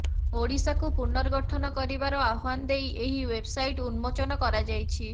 ଓଡ଼ିଶାକୁ ପନର୍ଗଠନ କରିବାର ଆହ୍ୱାନ ଦେଇ ଏହି ଓ୍ୱେବସାଇଟ୍ ଉନ୍ମୋଚନ କରାଯାଇଛି